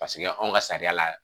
anw ka sariya la